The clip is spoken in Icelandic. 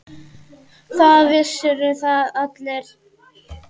Það vissu það allir.